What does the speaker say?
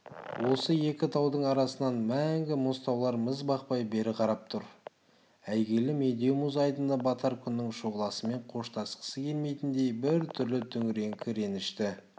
осы екі таудың арасынан мәңгі мұз таулар мізбақпай бері қарап тұр әйгілі медеу мұз айдыны батар күннің шұғыласымен қоштасқысы келмегендей бір түрлі түнеріңкі ренішті